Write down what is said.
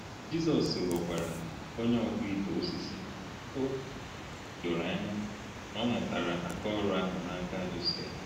Jizọs ghọkwara onye ọkpụ ite osisi, o doro anya na ọ mụtara aka ọrụ ahụ n’aka Josef.